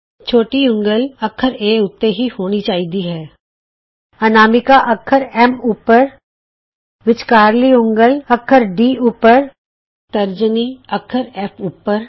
ਛੋਟੀ ਉਂਗਲ ਅੱਖਰ ਏ ਉੱਤੇ ਹੀ ਹੋਣੀ ਚਾਹੀਦੀ ਹੈ ਅਨਾਮਿਕਾ ਅੱਖਰ ਐਸ ਉੱਪਰ ਵਿੱਚਕਾਰਲੀ ਉਂਗਲ ਅੱਖਰ ਡੀ ਉੱਪਰ ਤਰਜਨੀ ਅੱਖਰ ਐਫ ਉੱਪਰ